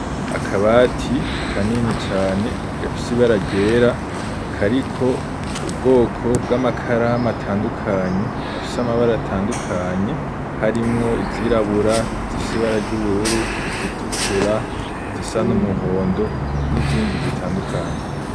Akabati kanini cane gafise ibara ryera kariko ubwoko bw'amakaramu atandukanye afise amabara atandukanye harimwo izirabura, izifise ibara ry'ubururu, izitukura, izisa n'umuhondo n’izindi zitandukanye.